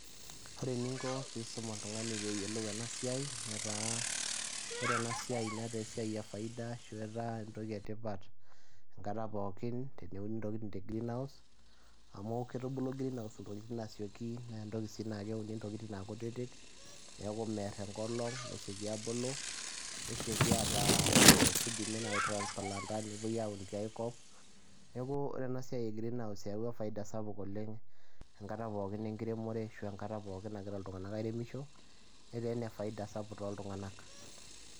ore eninko pee iisum oltungani pee eyiolou ena siai netaa, ore ena siai netaa esiai efaida ashu etaa entoki etipat enkata pookin teneuni ntokitin te greenhouse amu kitubulu greenhouse intokitin asioki naa entoki sii naa keuni ntokitin aakutitik. neeku mer enkolong nesioki aabulu. nesioki ata. kidimi naaji ai transplant nepuoi aun tiae kop, neeku ore ena siai neyawua faida sapuk oleng enkata pookin nagira iltungank airemisho netaa faida sapuk oleng tooltunganak.